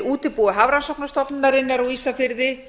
útibúi hafrannsóknastofnunarinnar á ísafirði